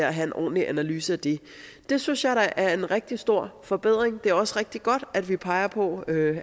og have en ordentlig analyse af det det synes jeg da er en rigtig stor forbedring og det er også rigtig godt at vi peger på